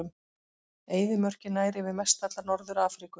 Eyðimörkin nær yfir mestalla Norður-Afríku.